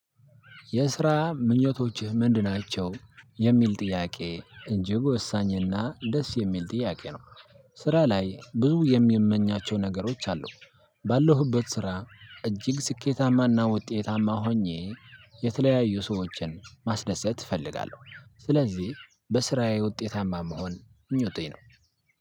የስራ ምኞቶችህ ምንድን ናቸው የሚል ጥያቄ እንጂ ወሳኝና ደስ የሚል ጥያቄ ነው። ስራ ላይ ብዙ የሚመኛቸው ነገሮች አሉ። ባለሁበት ስራ እጅግ ስኬታማና ውጤታማ ሆኜ የተለያዩ ሰዎችን ማስደሰት እፈልጋለሁ። ስለዚህ በስራዬ ውጤታማ መሆን ምኞቴ ነው።